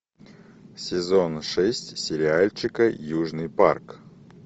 сезон шесть сериальчика южный парк